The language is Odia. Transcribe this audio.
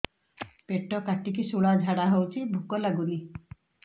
ପେଟ କାଟିକି ଶୂଳା ଝାଡ଼ା ହଉଚି ଭୁକ ଲାଗୁନି